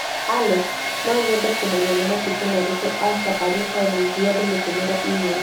Alex, no nyende kũmenya nĩ matukũ marĩkũ Asha arĩ ho nĩguo ndĩmũtũmĩre e-mail.